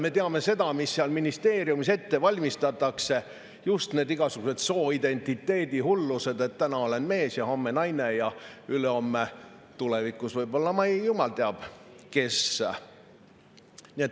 Me teame seda, mida ministeeriumis ette valmistatakse: just neid igasuguseid sooidentiteedihullusi, et täna olen mees ja homme naine ja ülehomme või tulevikus võib-olla jumal teab kes.